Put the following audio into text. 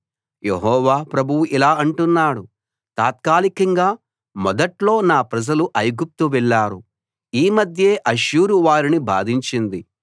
యెహోవా ప్రభువు ఇలా అంటున్నాడు తాత్కాలికంగా మొదట్లో నా ప్రజలు ఐగుప్తు వెళ్ళారు ఈ మధ్యే అష్షూరు వారిని బాధించింది